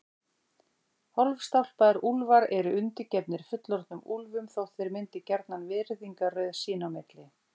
Hálfstálpaðir úlfar eru undirgefnir fullorðnum úlfum þótt þeir myndi gjarnan virðingarröð sín á milli.